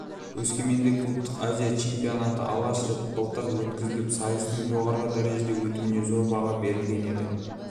өскеменде клубтық азия чемпионаты алғаш рет былтыр өткізіліп сайыстың жоғары дәрежеде өтуіне зор баға берілген еді